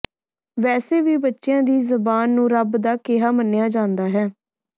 ਵੈਸੇ ਵੀ ਬੱਚਿਆਂ ਦੀ ਜ਼ਬਾਨ ਨੂੰ ਰੱਬ ਦਾ ਕਿਹਾ ਮੰਨਿਆ ਜਾਂਦਾ ਹੈ